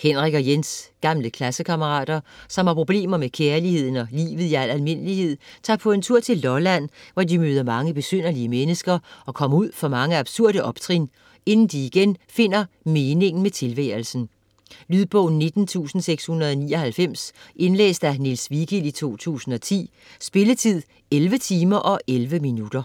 Henrik og Jens, gamle klassekammerater, som har problemer med kærligheden og livet i al almindelighed, tager på en tur til Lolland, hvor de møder mange besynderlige mennesker og kommer ud for mange absurde optrin, inden de igen finder meningen med tilværelsen. Lydbog 19699 Indlæst af Niels Vigild, 2010. Spilletid: 11 timer, 11 minutter.